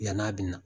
Yan'a bɛ na